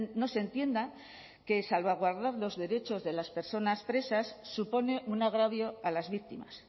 no se entienda que salvaguardar los derechos de las personas presas supone un agravio a las víctimas